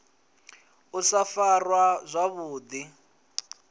u sa farwa zwavhu ḓi